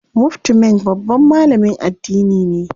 Mufti Menk babban malamin addini ne.